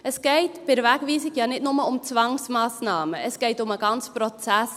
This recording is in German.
Es geht bei der Wegweisung ja nicht nur um Zwangsmassnahmen, es geht um den ganzen Prozess.